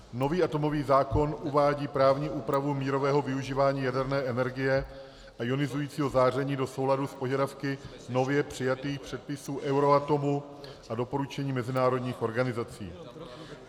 Nový atomový zákon uvádí právní úpravu mírového využívání jaderné energie a ionizujícího záření do souladu s požadavky nově přijatých předpisů Euratomu a doporučení mezinárodních organizací.